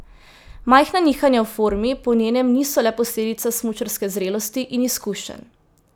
Majhna nihanja v formi po njenem niso le posledica smučarske zrelosti in izkušenj.